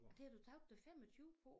Og det har du tabt dig 25 på?